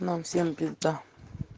нам всем пизда